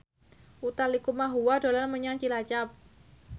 Utha Likumahua dolan menyang Cilacap